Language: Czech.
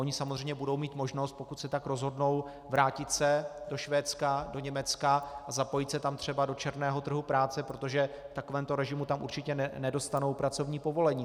Oni samozřejmě budou mít možnost, pokud se tak rozhodnou, vrátit se do Švédska, do Německa a zapojit se tam třeba do černého trhu práce, protože v takovémto režimu tam určitě nedostanou pracovní povolení.